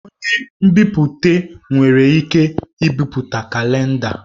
Onye nbipute nwere ike ibipụta kalenda.